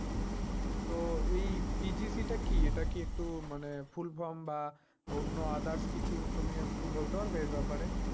তো এই PGC টা কী? এটা কিন্তু মানে full from বা অন্য others কিছু। তুমি একটু বলতে পারবে এ ব্যাপারে?